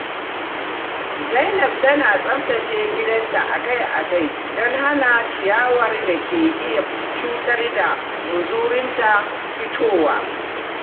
Zainab tana tsaftace gidan ta akai-akai don hana ciyawar da ke iya cutar da muzurunta fitowa.